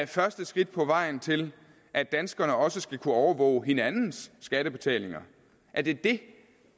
første skridt på vejen til at danskerne også skal kunne overvåge hinandens skattebetalinger er det det